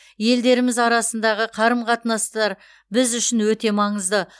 елдеріміз арасындағы қарым қатынастар біз үшін өте маңызды